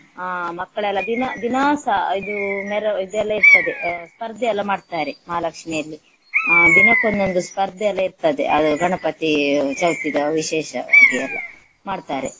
ಅಹ್ ಮಕ್ಕಳೆಲ್ಲ ದಿನ ದಿನಾಸ ಇದು ಮೆರ~ ಇದೆಲ್ಲ ಇರ್ತದೆ ಸ್ಪರ್ಧೆಯೆಲ್ಲ ಮಾಡ್ತಾರೆ ಮಹಾಲಕ್ಷ್ಮಿಯಲ್ಲಿ ಅಹ್ ದಿನಕ್ಕೊಂದೊಂದು ಸ್ಪರ್ಧೆಯೆಲ್ಲ ಇರ್ತದೆ ಅದು ಗಣಪತಿ ಚೌತಿದ ವಿಶೇಷ ಹಾಗೆ ಎಲ್ಲ ಮಾಡ್ತಾರೆ.